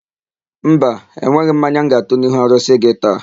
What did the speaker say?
Mba, enweghị m mmanya m ga-atụ n'ihu arụsị gị taa.